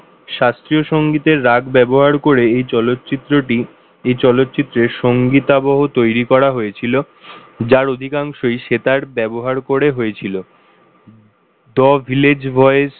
শাস্ত্রীয় সঙ্গীতের রাগ ব্যবহার করে এই চলচ্চিত্রটি এই চলচ্চিত্রে সঙ্গীত আবহ তৈরি করা হয়েছিল যার অধিকাংশই সেতার ব্যবহার করে হয়েছিল the village boys